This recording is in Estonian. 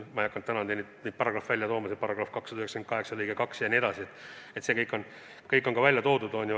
Ma ei hakanud täna neid paragrahve välja tooma –§ 298 lõige 2 jne –, see kõik on välja toodud.